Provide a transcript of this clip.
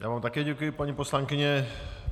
Já vám také děkuji, paní poslankyně.